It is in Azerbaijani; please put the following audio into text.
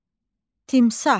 Timsah.